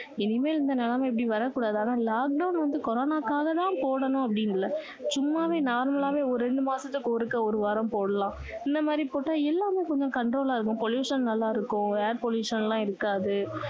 இனிமேல் இந்த நிலமை இப்படி வரக்கூடாது ஆனா lockdown வந்து கொரோனாக்காக தான் போடணும் அப்படின்னு இல்ல சும்மாவே normal ஆவே ரெண்டு மாசத்துக்கு ஒருக்கா ஒரு வாரம் போடலாம் இந்த மாதிரி போட்டா எல்லாரும் கொஞ்சம் control இருக்கும் pollution நல்லா இருக்கும் air pollution எல்லாம் இருக்காது